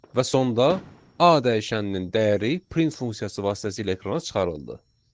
Və sonda A dəyişəninin dəyəri print funksiyası vasitəsilə ekrana çıxarıldı.